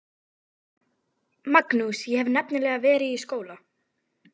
Magnús: Ég hef nefnilega verið í skóla.